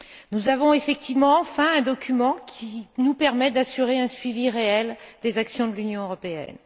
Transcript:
Nous avons effectivement enfin un document qui nous permet d'assurer un suivi réel des actions de l'Union européenne.